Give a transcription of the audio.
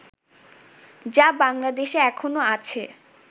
যা বাংলাদেশে এখনো আছে